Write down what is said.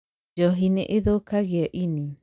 Njohi nĩ ĩthũkagia ĩnĩ.